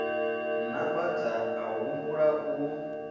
na bada a humbula u